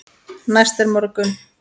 Næst er morgunn.